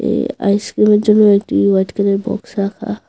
এ আইসক্রিমের জন্য একটি হোয়াইট কালারের বক্স রাখা।